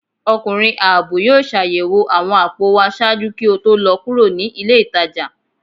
Ọkunrin aabọ yóò ṣayẹwo awọn apò wa ṣaaju ki o to lọ kuro ni ile itaja